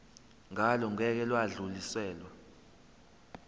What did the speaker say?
ngalo ngeke lwadluliselwa